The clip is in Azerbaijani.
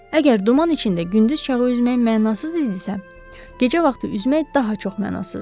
Əgər duman içində gündüz çağı üzmək mənasız idisə, gecə vaxtı üzmək daha çox mənasızdır.